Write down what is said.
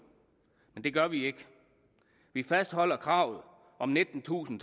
men det gør vi ikke vi fastholder kravet om om nittentusind